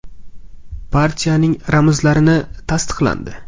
Partiyaning ramzlari tasdiqlandi.